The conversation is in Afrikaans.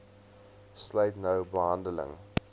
sluit nou behandeling